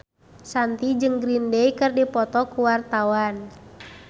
Shanti jeung Green Day keur dipoto ku wartawan